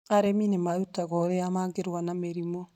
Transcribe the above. Arĩmi nĩ marutagwo ũrĩa mangĩrũa na mĩrimũ.